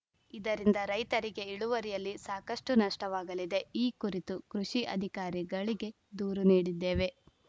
ಇದರಿಂದ ರೈತರಿಗೆ ಇಳುವರಿಯಲ್ಲಿ ಸಾಕಷ್ಟುನಷ್ಟವಾಗಲಿದೆ ಈ ಕುರಿತು ಕೃಷಿ ಅಧಿಕಾರಿಗಳಿಗೆ ದೂರು ನೀಡಿದ್ದೇವೆ